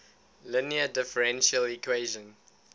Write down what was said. linear differential equation